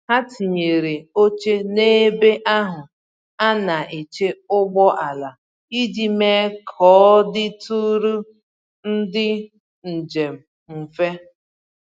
Ha tinyere óche n'ebe ahụ ana eche ụgbọala iji mee k'ọditụrụ ndị njem mfe